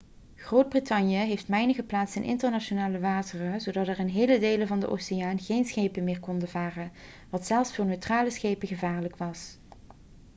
groot-brittannië heeft mijnen geplaatst in internationale wateren zodat er in hele delen van de oceaan geen schepen meer konden varen wat zelfs voor neutrale schepen gevaarlijk was